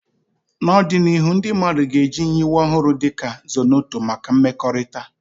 N'ọdịnihu, ndị mmadụ ga-eji nyiwe ọhụrụ dị ka Zornoto maka mmekọrịta.